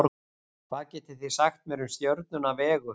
Hvað getið þið sagt mér um stjörnuna Vegu?